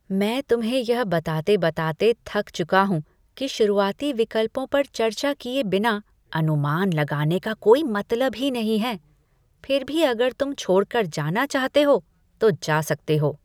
मैं तुम्हें यह बताते बताते थक चुका हूँ कि शुरुआती विकल्पों पर चर्चा किए बिना अनुमान लगाने का कोई मतलब ही नहीं है, फिर भी अगर तुम छोड़कर जाना चाहते हो, तो जा सकते हो।